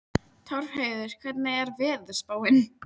Torfheiður, hvernig er veðurspáin?